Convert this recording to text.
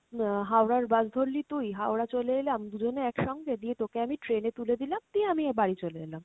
আহ Howrah র bus ধরলি তুই, হাওড়া চলে এলাম দুজনে এক সঙ্গে, দিয়ে তোকে আমি train এ তুলে দিলাম দিয়ে আমিও বাড়ি চলে এলাম।